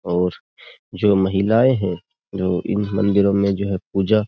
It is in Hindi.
और जो महिलाएं हैं जो इन मंदिरों में जो है पूजा --